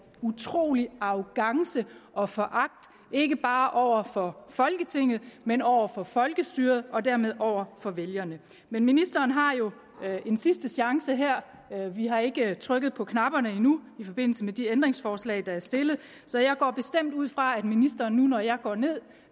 utrolig arrogance og foragt ikke bare over for folketinget men over for folkestyret og dermed over for vælgerne men ministeren har jo en sidste chance her vi har ikke trykket på knapperne endnu i forbindelse med de ændringsforslag der er stillet så jeg går bestemt ud fra at ministeren nu når jeg går ned